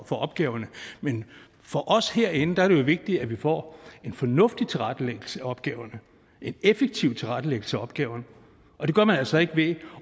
for opgaverne men for os herinde er det jo vigtigt at vi får en fornuftig tilrettelæggelse af opgaverne en effektiv tilrettelæggelse af opgaverne og det gør man altså ikke ved